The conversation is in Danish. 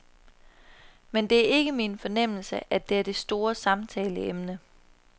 Men det er ikke min fornemmelse, at det er det store samtaleemne.